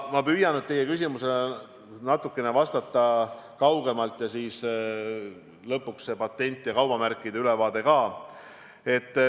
Ma püüan nüüd teie küsimusele vastates alustada natukene kaugemalt ja anda siis lõpuks patendist ja kaubamärkidest ülevaate.